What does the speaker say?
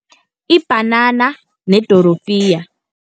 Ibhanana nedorofiya.